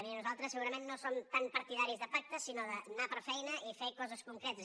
miri nosaltres segurament no som tan partidaris de pactes sinó d’anar per feina i fer coses concretes